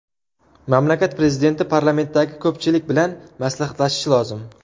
Mamlakat prezidenti parlamentdagi ko‘pchilik bilan maslahatlashishi lozim.